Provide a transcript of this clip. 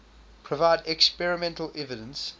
provide experimental evidence